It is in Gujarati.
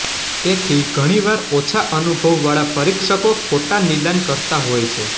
તેથી ઘણીવાર ઓછા અનુભવ વાળા પરીક્ષકો ખોટા નિદાન કરતા હોય છે